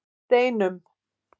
Steinum